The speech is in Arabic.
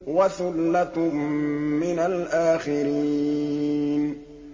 وَثُلَّةٌ مِّنَ الْآخِرِينَ